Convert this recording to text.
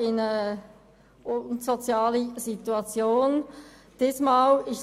in eine unsoziale Situation zu bewahren.